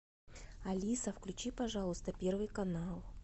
алиса включи пожалуйста первый канал